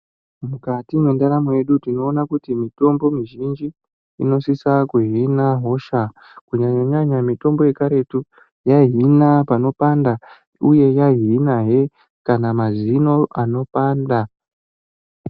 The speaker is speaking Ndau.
Mukati mwendaramo yedu tinoona kuti mitombo mizhinji inosisa kuhina hosha kunyanya nyanya mutombo yekaretu yaihina panopanda kana uye yaihina he kana mazino anopanda.